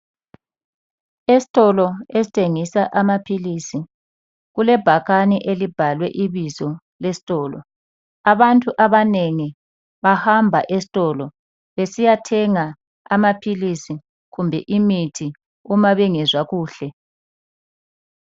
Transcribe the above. Esitolo esithengisa amaphilisi kulebhakane elibhalwe ibizo lesitolo. Abantu abanengi bahamba esitolo besiyathenga amaphilisi kumbe imithi uma bengezwa kuhle.